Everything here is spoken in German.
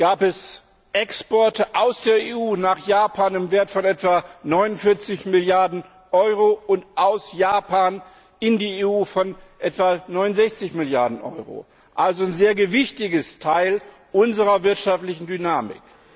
gab es Exporte aus der EU nach Japan im Wert von etwa 49 Milliarden Euro, und aus Japan in die EU von etwa 69 Milliarden Euro also ein sehr gewichtiger Teil unserer wirtschaftlichen Dynamik.